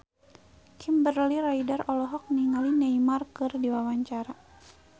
Kimberly Ryder olohok ningali Neymar keur diwawancara